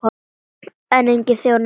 En enginn þjónaði honum.